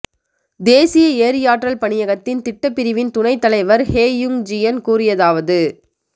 தேசிய எரியாற்றல் பணியகத்தின் திட்ட பிரிவின் துணை தலைவர் ஹெ யுங்ஜியன் கூறியதாவது